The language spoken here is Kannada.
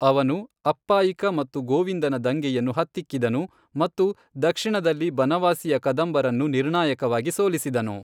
ಅವನು ಅಪ್ಪಾಯಿಕ ಮತ್ತು ಗೋವಿಂದನ ದಂಗೆಯನ್ನು ಹತ್ತಿಕ್ಕಿದನು ಮತ್ತು ದಕ್ಷಿಣದಲ್ಲಿ ಬನವಾಸಿಯ ಕದಂಬರನ್ನು ನಿರ್ಣಾಯಕವಾಗಿ ಸೋಲಿಸಿದನು.